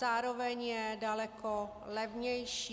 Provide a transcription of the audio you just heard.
Zároveň je daleko levnější.